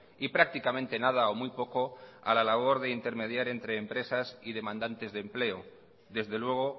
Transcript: y prácticamente nada o muy poco a la labor de intermediar entre empresas y demandantes de empleo desde luego